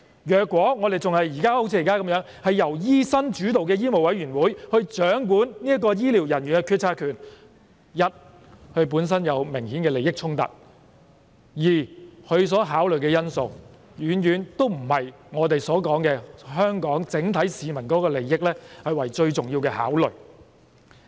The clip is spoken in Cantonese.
如果現時的情況持續，由醫生主導的香港醫務委員會掌管醫療人員的決策權，第一，他們本身有明顯的利益衝突；第二，他們所考慮的因素遠遠不是我們所說，以香港整體市民的利益為最重要的考慮。